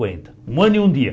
Cinquenta um ano e um dia.